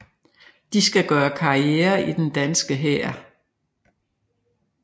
De skal gøre karriere i den danske hær